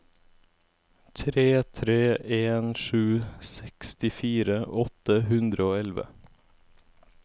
tre tre en sju sekstifire åtte hundre og elleve